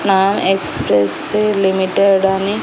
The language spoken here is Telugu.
నా ఎక్స్ప్రెస్సు లిమిటెడ్ అని--